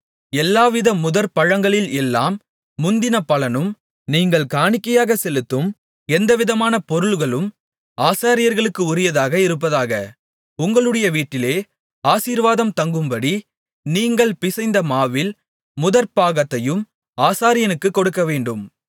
எல்லாவித முதற்பழங்களில் எல்லாம் முந்தின பலனும் நீங்கள் காணிக்கையாகச் செலுத்தும் எந்தவிதமான பொருள்களும் ஆசாரியர்களுக்கு உரியதாக இருப்பதாக உங்களுடைய வீட்டில் ஆசீர்வாதம் தங்கும்படி நீங்கள் பிசைந்தமாவில் முதற்பாகத்தையும் ஆசாரியனுக்குக் கொடுக்கவேண்டும்